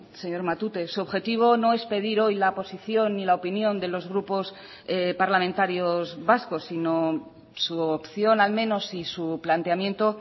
señor matute su objetivo no es pedir hoy la posición ni la opinión de los grupos parlamentarios vascos sino su opción al menos y su planteamiento